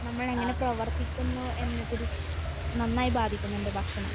നമ്മൾ എങ്ങനെ പ്രവർത്തിക്കുന്നു എന്നതിൽ നന്നായി ബാധിക്കുന്നുണ്ട് ഭക്ഷണം.